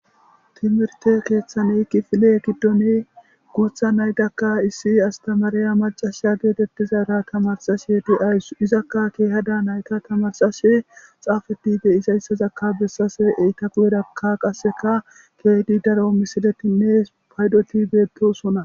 Timirte keeththani kifile giddoni guutha naydakka issi astamariya macasha geetettizara tamarsashe di'aysu izakka keehadaa nayta tamarsashe xaafediide isayssazakka bessase eyta gu'erakka qasseka keedi daro misiletinne paydotibeto sona